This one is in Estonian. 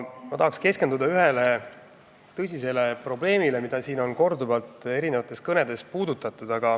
Tahaksin keskenduda ühele tõsisele probleemile, mida siin on korduvalt kõnedes puudutatud.